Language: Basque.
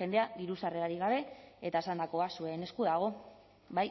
jendea diru sarrerarik gabe eta esandakoa zuen esku dago bai